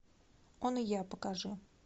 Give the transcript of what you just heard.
он и я покажи